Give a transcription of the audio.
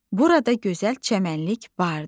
Burada gözəl çəmənlik vardı.